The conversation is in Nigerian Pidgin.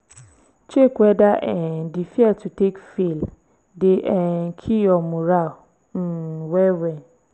check weda um di fear to take fail dey um kill yur moral um well-well